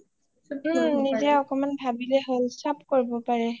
ওম নিজে অকমান ভাবিলেই হ'ল চব কৰিব পাৰে